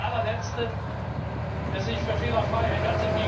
Ich bin der allerletzte, der sich für fehlerfrei hält.